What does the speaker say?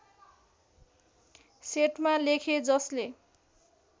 सेटमा लेखे जसले